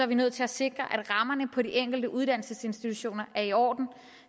vi nødt til at sikre at rammerne på de enkelte uddannelsesinstitutioner er i orden